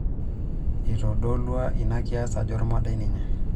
Eitodolua ina kias ajo olmodai ninye.